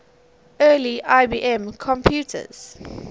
early ibm pcs